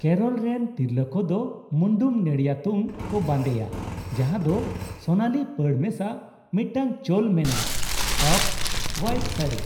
ᱠᱮᱨᱚᱞ ᱨᱮᱱ ᱛᱤᱨᱞᱟᱹ ᱠᱚᱫᱚ ᱢᱩᱱᱰᱩᱢ ᱱᱮᱲᱤᱭᱟᱛᱩᱢ ᱠᱚ ᱵᱟᱸᱫᱮᱭᱟ ᱡᱟᱦᱟᱸ ᱫᱚ ᱥᱳᱱᱟᱞᱤ ᱯᱟᱹᱲ ᱢᱮᱥᱟ ᱢᱤᱫᱴᱟᱝ ᱪᱚᱞ ᱢᱮᱱᱟᱜ ᱚᱯᱼᱦᱳᱭᱟᱤᱴ ᱥᱟᱹᱲᱤ ᱾